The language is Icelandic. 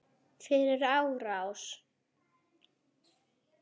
Fyrir árás?